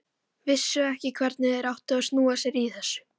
Þeir völdu staðinn og hann lét mæla út fyrir grunni.